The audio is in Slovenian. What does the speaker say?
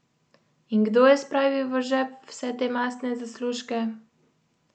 In kdo je spravil v žep vse te mastne zaslužke?